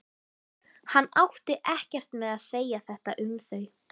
Hann átti ekkert með að segja þetta um þau.